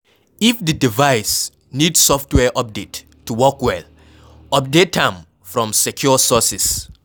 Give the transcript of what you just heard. if di device need software update to work well, update am from secure sources